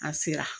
An sera